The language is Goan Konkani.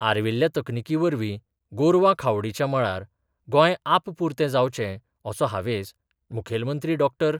आर्विल्ल्या तकनिकी वरवीं गोरवां खावडीच्या मळार गोंय आपपुरते जावचे असो हावेस मुखेलमंत्री डॉ.